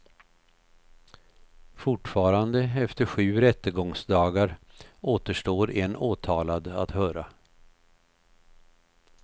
Fortfarande efter sju rättegångsdagar återstår en åtalad att höra.